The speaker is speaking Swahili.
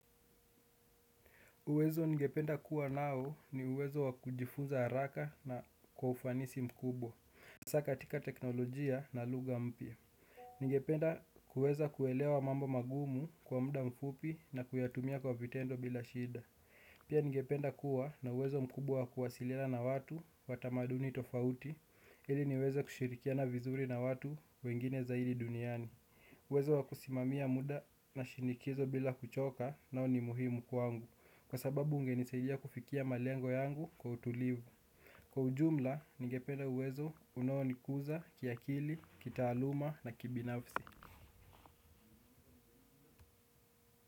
Uwezo ningependa kuwa nao ni uwezo wa kujifunza haraka na kwa ufanisi mkubwa hasa katika teknolojia na lugha mpya ningependa kuweza kuelewa mambo magumu kwa muda mfupi na kuyatumia kwa vitendo bila shida pia ningependa kuwa na uwezo mkubwa kuwasiliana na watu wa tamaduni tofauti ili niweze kushirikiana vizuri na watu wengine zaidi duniani uwezo wa kusimamia muda na shinikizo bila kuchoka nao ni muhimu kwangu kwa sababu ungenisaidia kufikia malengo yangu kwa utulivu kwa ujumla, nigependa uwezo unaonikuza, kiakili, kitaaluma na kibinafsi.